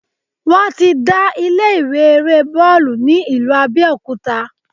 Wọ́n ti dá ilé ìwé eré bọ́ọ̀lù ni ìlú Abẹ́òkúta.